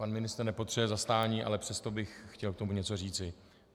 Pan ministr nepotřebuje zastání, ale přesto bych chtěl k tomu něco říci.